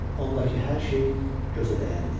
Ondakı hər şey gözə dəyəndi.